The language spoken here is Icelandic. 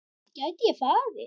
Gæti ég farið?